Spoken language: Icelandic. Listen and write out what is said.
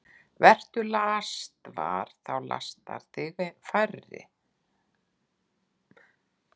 Vertu lastvar – þá lasta þig færri.